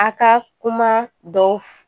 A ka kuma dɔw